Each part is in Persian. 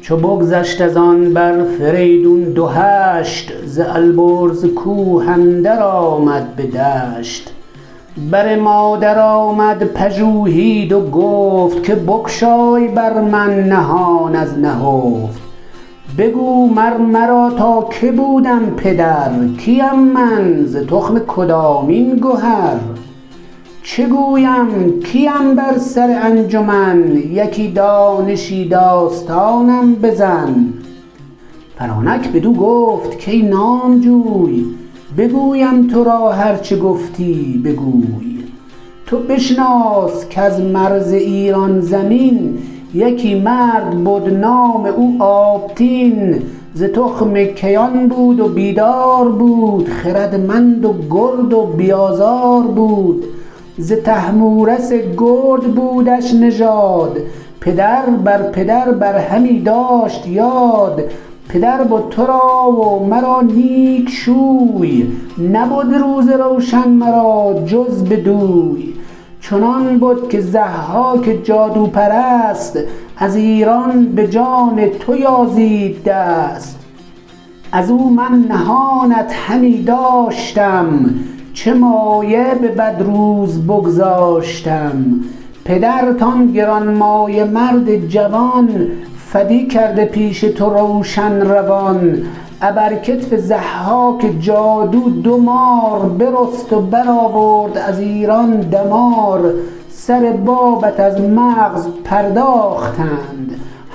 چو بگذشت از آن بر فریدون دو هشت ز البرز کوه اندر آمد به دشت بر مادر آمد پژوهید و گفت که بگشای بر من نهان از نهفت بگو مر مرا تا که بودم پدر کیم من ز تخم کدامین گهر چه گویم کیم بر سر انجمن یکی دانشی داستانم بزن فرانک بدو گفت کای نامجوی بگویم تو را هر چه گفتی بگوی تو بشناس کز مرز ایران زمین یکی مرد بد نام او آبتین ز تخم کیان بود و بیدار بود خردمند و گرد و بی آزار بود ز طهمورث گرد بودش نژاد پدر بر پدر بر همی داشت یاد پدر بد تو را و مرا نیک شوی نبد روز روشن مرا جز بدوی چنان بد که ضحاک جادوپرست از ایران به جان تو یازید دست از او من نهانت همی داشتم چه مایه به بد روز بگذاشتم پدرت آن گرانمایه مرد جوان فدی کرده پیش تو روشن روان ابر کتف ضحاک جادو دو مار برست و برآورد از ایران دمار سر بابت از مغز پرداختند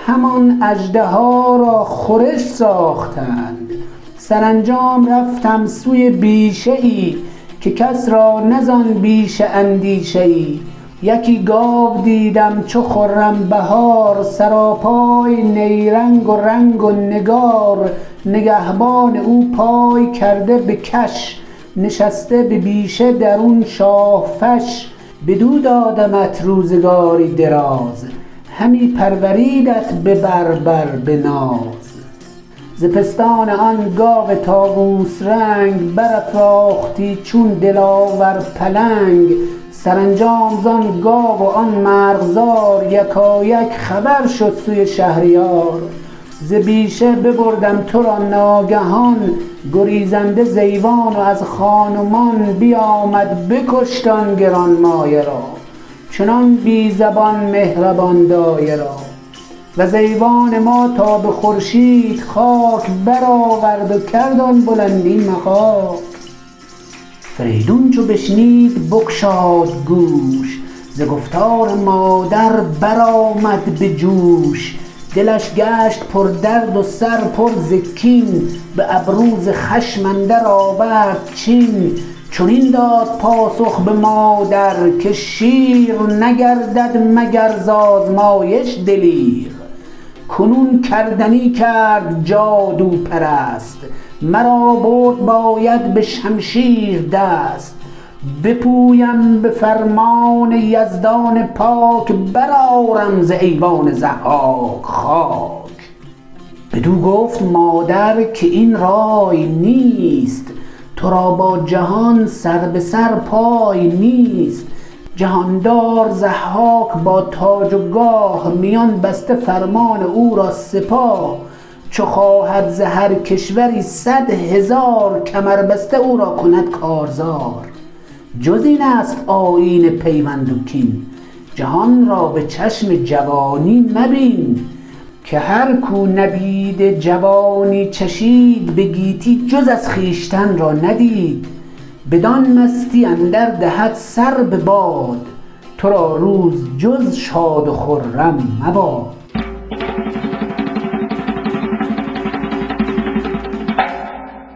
همان اژدها را خورش ساختند سرانجام رفتم سوی بیشه ای که کس را نه زآن بیشه اندیشه ای یکی گاو دیدم چو خرم بهار سراپای نیرنگ و رنگ و نگار نگهبان او پای کرده به کش نشسته به بیشه درون شاه فش بدو دادمت روزگاری دراز همی پروردیدت به بر بر به ناز ز پستان آن گاو طاووس رنگ برافراختی چون دلاور پلنگ سرانجام زآن گاو و آن مرغزار یکایک خبر شد سوی شهریار ز بیشه ببردم تو را ناگهان گریزنده ز ایوان و از خان و مان بیامد بکشت آن گرانمایه را چنان بی زبان مهربان دایه را وز ایوان ما تا به خورشید خاک برآورد و کرد آن بلندی مغاک فریدون چو بشنید بگشاد گوش ز گفتار مادر برآمد به جوش دلش گشت پردرد و سر پر ز کین به ابرو ز خشم اندر آورد چین چنین داد پاسخ به مادر که شیر نگردد مگر ز آزمایش دلیر کنون کردنی کرد جادوپرست مرا برد باید به شمشیر دست بپویم به فرمان یزدان پاک برآرم ز ایوان ضحاک خاک بدو گفت مادر که این رای نیست تو را با جهان سر به سر پای نیست جهاندار ضحاک با تاج و گاه میان بسته فرمان او را سپاه چو خواهد ز هر کشوری صدهزار کمر بسته او را کند کارزار جز این است آیین پیوند و کین جهان را به چشم جوانی مبین که هر کاو نبید جوانی چشید به گیتی جز از خویشتن را ندید بدان مستی اندر دهد سر بباد تو را روز جز شاد و خرم مباد